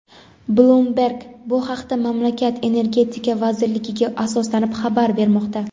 "Bloomberg" bu haqda mamlakat Energetika vazirligiga asoslanib xabar bermoqda.